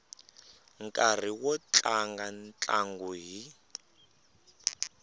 nkarhi wo tlanga ntlangu hi